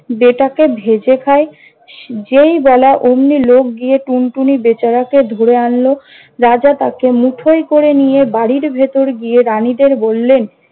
বেটাকে ভেজে খাই। যেই বলা অমনি লোক গিয়ে টুনটুনি বেচারাকে ধরে আনল! রাজা তাকে মুঠোয় করে নিয়ে বাড়ির ভেতর গিয়ে রানীদের বললেন-